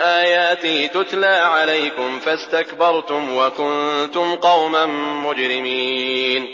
آيَاتِي تُتْلَىٰ عَلَيْكُمْ فَاسْتَكْبَرْتُمْ وَكُنتُمْ قَوْمًا مُّجْرِمِينَ